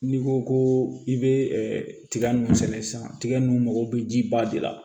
N'i ko ko i bɛ tiga nunnu sɛnɛ sisan tiga nun bɛ ji ba de la